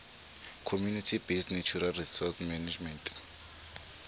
community based natural resource management